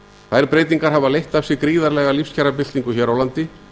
þær breytingar hafa leitt af sér gríðarlega lífskjarabyltingu hér á landi